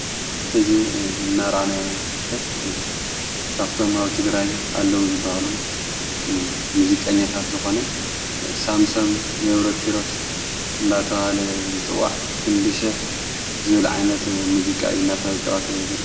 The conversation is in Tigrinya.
ሕዚ እናራኣናያ ምርከብ ካፍቶም ኣብ ትግራይ ኣለዉ ዝበሃሉ ሙዚቃኛታት ዝኾነ ሳምሰም ገብሮኪሮስ እናተውሃለ ዘጽዋዕ ኽንድሽሕ ዝብልዓይነት ሙዚቃ እናተጫወተ ልርከብ።